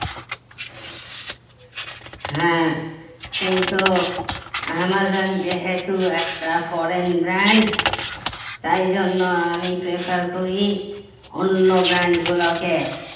হ্যাঁ কিন্তু অ্যামাজন যেহেতু একটা foreign brand তাই জন্য আমি prefer করি অন্য brand গুলোকে